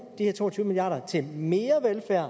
de her to og tyve milliard kroner til mere velfærd